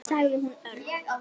sagði hún örg.